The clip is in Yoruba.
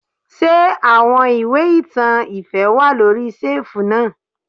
Ṣé àwọn ìwé ìtàn ìfẹ́ wà lóri ṣẹ́ẹ̀fù náà.